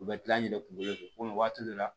U bɛ kila kungo de fɛ komi waati dɔ la